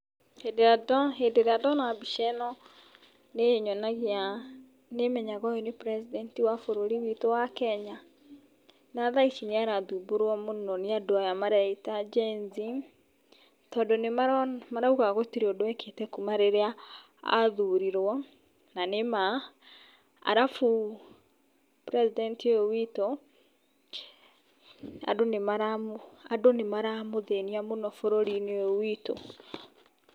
Hĩndĩ ĩrĩa ndona ,hĩndĩ ĩrĩa ndona mbica ĩno, nĩ ĩnyonagia nĩ menyaga ũyũ nĩ president wa bũrũri witũ wa Kenya. Na dhaici nĩ aradhumbũrwo mũno nĩ andũ aya maretwo Genz, tondũ nĩ marauga gũtirĩ ũndũ ekĩte kuuma rĩrĩa a thurirwo na nĩma. Arabu president ũyũ witũ andũ nĩ maramũdhĩnia mũno bũrũri-inĩ ũyũ witũ.